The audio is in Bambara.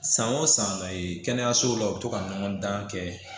San o san e kɛnɛyasow la u bɛ to ka ɲɔgɔn dan kɛ